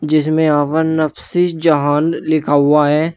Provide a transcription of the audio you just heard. इसमें यहां पर नफ्सी जहान लिखा हुआ है।